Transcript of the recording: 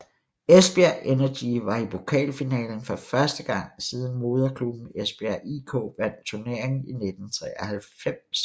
Esbjerg Energy var i pokalfinalen for første gang siden moderklubben Esbjerg IK vandt turneringen i 1993